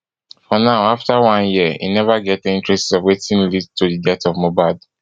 for now afta one year e neva get any traces of wetin lead to di death of mohbad